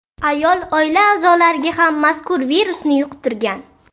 Ayol oila a’zolariga ham mazkur virusni yuqtirgan.